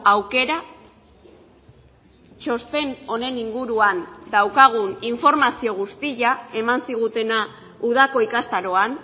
aukera txosten honen inguruan daukagun informazio guztia eman zigutena udako ikastaroan